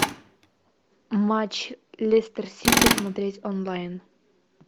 матч лестер сити смотреть онлайн